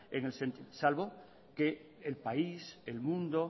salvo que el país el mundo